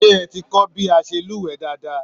Seé ẹ ti kọ bí a ṣe lúwẹ̀ẹ́ dáadáa?